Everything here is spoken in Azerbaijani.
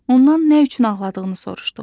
Ondan nə üçün ağladığını soruşduq.